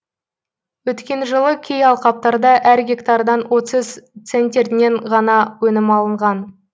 өткен жылы кей алқаптарда әр гектардан отыз центнерінен ғана өнім алынған